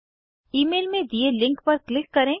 email में दिए link पर क्लिक करें